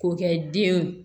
K'o kɛ den